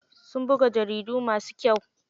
Sun buga jaridu masu kyau.